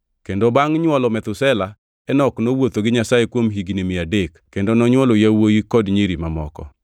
Kendo bangʼ nywolo Methusela, Enok nowuotho gi Nyasaye kuom higni mia adek kendo nonywolo yawuowi kod nyiri mamoko.